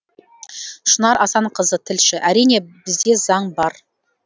шынар асанқызы тілші әрине бізде заң бар